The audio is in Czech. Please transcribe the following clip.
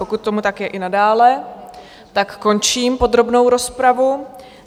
Pokud tomu tak je i nadále, tak končím podrobnou rozpravu.